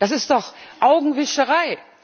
Das ist doch Augenwischerei!